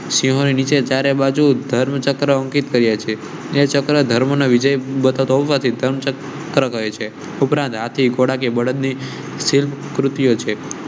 સિંહોની નીચે ચારે બાજુ ધર્મચક્ર અંકિત કર્યા છે. ને ચક્ર ધર્મ ન વિજય બતાવ તી રહે છે ઉપરાંત હાથી ઘોડા કે ભાડધ ની શિલ્પ કૃતિઓ છે.